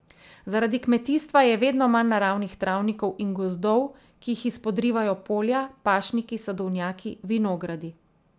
Zaradi kmetijstva je vedno manj naravnih travnikov in gozdov, ki jih izpodrivajo polja, pašniki, sadovnjaki, vinogradi ...